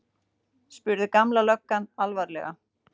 spurði Gamla löggan alvarlega.